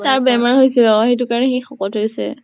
তাৰ বেমাৰ হৈছে অ সেইটো কাৰণে সি শকত হৈছে।